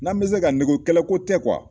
N'an bɛ se ka kɛlɛ ko tɛ